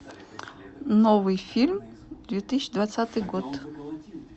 новый фильм две тысячи двадцатый год